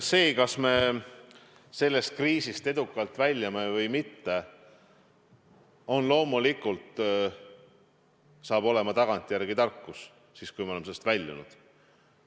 See, kas me sellest kriisist edukalt väljume või mitte, on loomulikult tagantjärele tarkus, kui me oleme sellest kriisist väljunud.